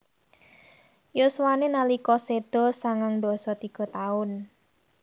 Yuswané nalika séda sangang dasa tiga taun